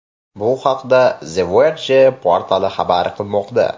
Bu haqda The Verge portali xabar qilmoqda .